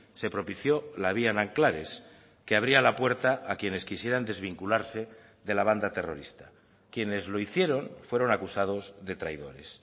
se propició la vía nanclares que abría la puerta a quienes quisieran desvincularse de la banda terrorista quienes lo hicieron fueron acusados de traidores